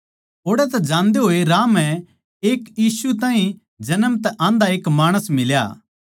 ओड़ तै जान्दे होए राह म्ह एक यीशु ताहीं जन्म तै आंधा एक माणस मिला